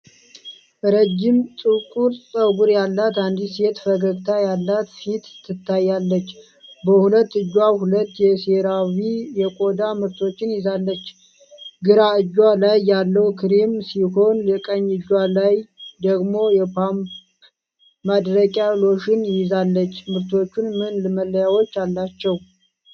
ረጅም ጥቁር ፀጉር ያላት አንዲት ሴት ፈገግታ ያላት ፊት ትታያለች። በሁለት እጇ ሁለት የሴራቪ የቆዳ ምርቶችን ይዛለች። ግራ እጇ ላይ ያለው ክሬም ሲሆን፣ ቀኝ እጇ ላይ ደግሞ የፓምፕ ማድረቂያ ሎሽን ይዛለች። ምርቶቹ ምን መለያዎች አላቸው።